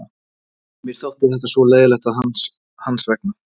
Mér þótti þetta svo leiðinlegt hans vegna.